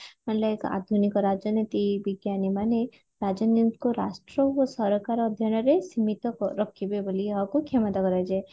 ହେଲେ ଆଧୁନିକ ରାଜନୀତି ବିଜ୍ଞାନୀ ମାନେ ରାଜନୈତିକ ରାଷ୍ଟ୍ର ଓ ସରକାର ଅଧ୍ୟୟନରେ ସୀମିତ ରଖିବେ ବୋଲି ଏହାକୁ କ୍ଷମତା କରାଯାଏ